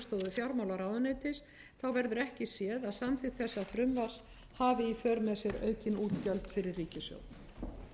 fjármálaráðuneytis verður ekki séð að samþykkt þessa frumvarps hafi í för með sér aukin útgjöld fyrir ríkissjóð